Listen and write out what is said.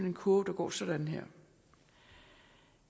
en kurve der går sådan her